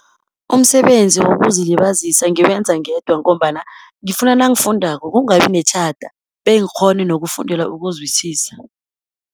Umsebenzi wokuzilibazisa ngiwenza ngedwa, ngombana ngifuna nangifundako kungabi netjhada, bengikghone nokufundela ukuzwisisa.